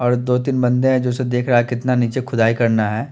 और दो तीन बन्दे है जो ऐसे देख रहे है की निचा खुदाई करना है।